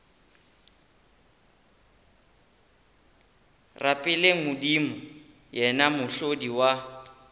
rapeleng modimo yena mohlodi wa